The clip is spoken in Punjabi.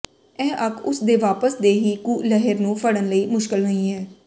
ਇਹ ਅੱਖ ਉਸ ਦੇ ਵਾਪਸ ਦੇ ਹੀ ਕੁ ਲਹਿਰ ਨੂੰ ਫੜਨ ਲਈ ਮੁਸ਼ਕਲ ਨਹੀ ਹੈ